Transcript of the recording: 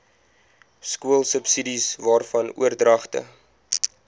skoolsubsidies waarvan oordragte